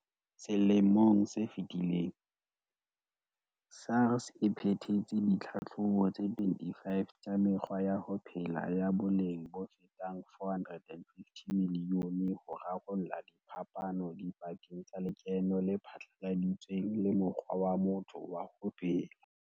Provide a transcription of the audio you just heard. Selemong se fetileng, SARS e phethetse ditlhatlhobo tse 25 tsa mekgwa ya ho phela ya boleng bofetang R450 milione ho rarolla diphapano dipakeng tsa lekeno le phatlaladitsweng le mokgwa wa motho wa ho phela.